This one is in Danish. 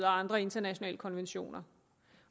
og andre internationale konventioner